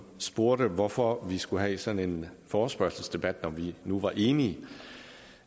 spurgte hvorfor vi skulle have sådan en forespørgselsdebat når vi nu er enige